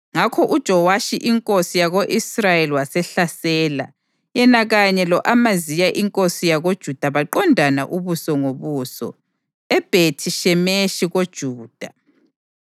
Ngakho uJowashi inkosi yako-Israyeli wasehlasela. Yena kanye lo-Amaziya inkosi yakoJuda baqondana ubuso ngobuso eBhethi-Shemeshi koJuda.